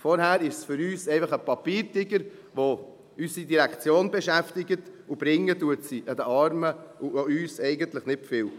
– Vorher ist es für uns einfach ein Papiertiger, der unsere Direktion beschäftigt, und sie bringt den Armen und auch uns eigentlich nicht viel.